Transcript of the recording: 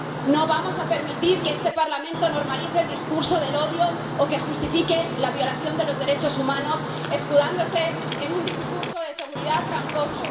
No vamos a permitir que este Parlamento normalice el discurso del odio o que justifique la violación de los derechos humanos, escudándose en un discurso de seguridad tramposo.